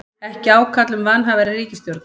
Ekki ákall um vanhæfari ríkisstjórn